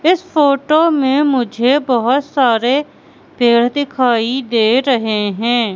इस फोटो में मुझे बहोत सारे पेड़ दिखाई दे रहे हैं।